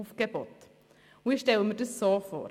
Ich stelle mir das so vor: